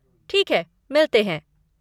ठीक है, मिलते हैं।